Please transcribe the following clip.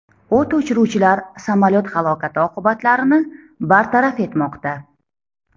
O‘t o‘chiruvchilar samolyot halokati oqibatlarini bartaraf etmoqda.